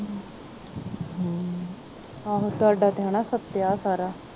ਆਹੋ ਤੁਹਾਡਾ ਤੇ ਹਨਾ ਸਾਰਾ